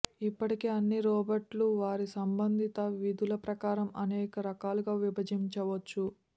ఇప్పటికే అన్ని రోబోట్లు వారి సంబంధిత విధులు ప్రకారం అనేక రకాలుగా విభజించవచ్చు